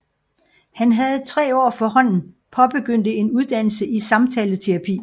Han havde tre år forhånden påbegyndte en uddannelse i samtaleterapi